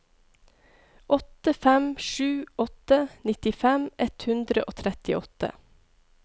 åtte fem sju åtte nittifem ett hundre og trettiåtte